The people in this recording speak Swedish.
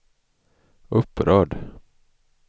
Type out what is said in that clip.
upprörd